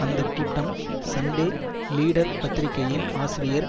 அந்த கூட்டம் சண்டே லீடர்பத்திரிகையின் ஆசிரியர்